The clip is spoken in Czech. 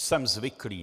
Jsem zvyklý.